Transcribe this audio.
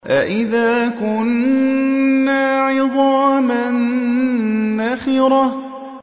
أَإِذَا كُنَّا عِظَامًا نَّخِرَةً